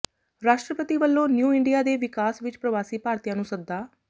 ਰਾਸ਼ਟਰਪਤੀ ਵਲੋਂ new India ਦੇ ਵਿਕਾਸ ਵਿਚ ਪ੍ਰਵਾਸੀ ਭਾਰਤੀਆਂ ਨੂੰ ਸੱਦਾ